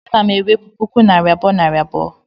ana m enwepu puku naira abuo nari abuo